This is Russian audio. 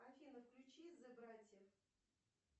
афина включи зе братьев